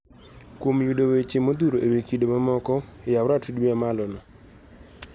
Kuom yudo weche modhuro ewi kido mamoko ,yaw ratudi mamalo no.